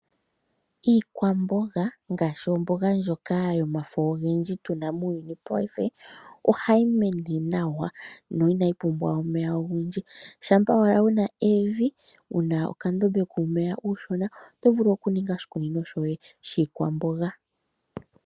Iikwamboga ngaashi omboga ndjoka yomafo ogendji tu na muuyuni wopaife, ohayi mene nawa na inayi pumbwa omeya ogendji. Shampa owala wu na evi, wu na okandombe kuumeya uushona, oto vulu okuninga oshikunino shoye shiikwamboga.